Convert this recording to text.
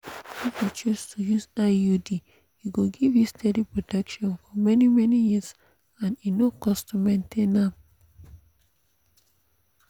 if you choose to use iud e go give you steady protection for many-many years and e no cost to maintain am.